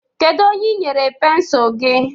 Kedu onye i nyere pensụl gị?